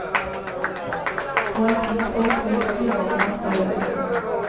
På et tidspunkt vil klubbene nok dø ut.